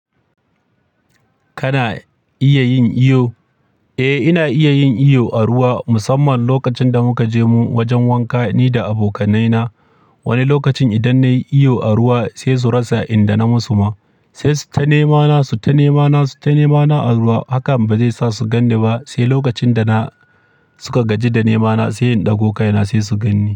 Kana iya yin iyo? Eh, ina iya yin iyo a ruwa musamman lokacin da muka je mu wajen wanka ni da abokanai na. Wani lokacin idan na yi iyo a ruwa sai su rasa inda na musu ma, sai su ta nema na, su ta nema na, su ta nema na a ruwa. Haka ba zai sa su ganni ba, sai lokacin da na suka gaji da nema na sai in ɗago kai na sai su ganni.